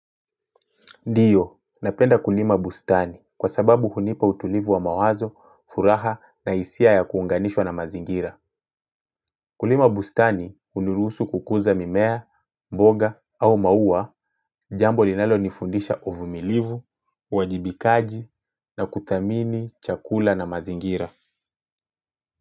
Ndiyo napenda kulima bustani kwa sababu hunipa utulivu wa mawazo furaha na hisia ya kuunganishwa na mazingira. Kulima bustani hunirusu kukuza mimea mboga au maua jambo linalo nifundisha uvumilivu uwajibikaji na kuthamini chakula na mazingira.